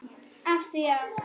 Af því að.